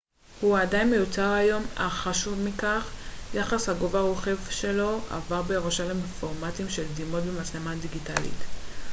הוא עדיין מיוצר היום אך חשוב מכך יחס הגובה-רוחב שלו עבר בירושה לפורמטים של דימות במצלמה דיגיטלית